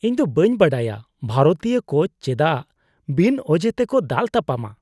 ᱤᱧᱫᱚ ᱵᱟᱹᱧ ᱵᱟᱰᱟᱭᱟ ᱵᱷᱟᱨᱚᱛᱤᱭᱚ ᱠᱳᱪ ᱪᱮᱫᱟᱜ ᱵᱤᱱ ᱚᱡᱮ ᱛᱮᱠᱚ ᱫᱟᱞᱼᱛᱟᱯᱟᱢᱟ ᱾